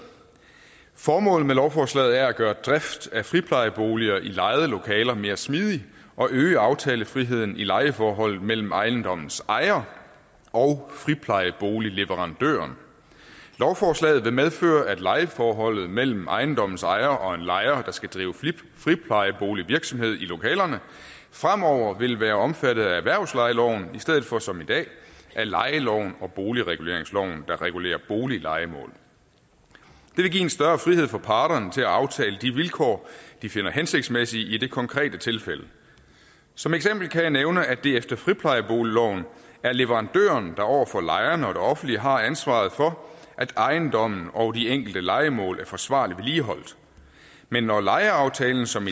formålet med lovforslaget er at gøre drift af friplejeboliger i lejede lokaler mere smidig og at øge aftalefriheden i lejeforholdet mellem ejendommens ejer og friplejeboligleverandøren lovforslaget vil medføre at lejeforholdet mellem ejendommens ejer og en lejer der skal drive friplejeboligvirksomhed i lokalerne fremover vil være omfattet af erhvervslejeloven i stedet for som i dag af lejeloven og boligreguleringsloven der regulerer boliglejemål det vil give en større frihed for parterne til at aftale de vilkår de finder hensigtsmæssige i det konkrete tilfælde som eksempel kan jeg nævne at det efter friplejeboligloven er leverandøren der over for lejerne og det offentlige har ansvaret for at ejendommen og de enkelte lejemål er forsvarligt vedligeholdt men når lejeaftalen som